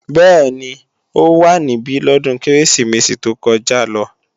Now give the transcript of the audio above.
Bẹ́ẹ̀ni, ó wá níbí lọ́dún Kérésìmesì tó kọjá lọ